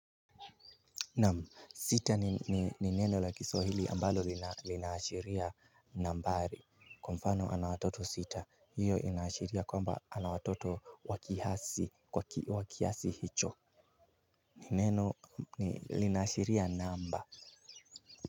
Naam, sita ni neno la kiswahili ambalo linaashiria nambari. Kwa mfano ana watoto sita, hiyo inaashiria kwamba ana watoto wa kiasi hicho. Ni neno linaashiria namba.